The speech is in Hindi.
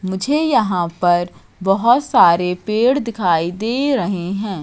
मुझे यहां पर बहोत सारे पेड़ दिखाई दे रहे हैं।